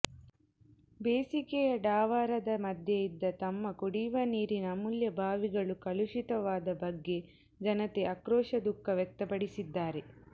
ಬೇಸಿಗೆಯ ಡಾವರದ ಮದ್ಯೆ ಇದ್ದ ತಮ್ಮ ಕುಡಿಯುವ ನೀರಿನ ಅಮೂಲ್ಯ ಬಾವಿಗಳು ಕಲುಶಿತವಾದ ಬಗ್ಗೆ ಜನತೆ ಆಕ್ರೋಶ ದುಖಃ ವ್ಯಕ್ತಪಡಿಸಿದ್ದಾರೆ